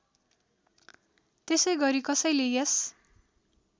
त्यसैगरी कसैले यस